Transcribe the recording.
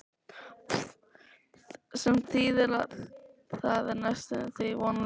Sem þýðir að það er næstum því vonlaust.